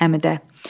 Həmidə.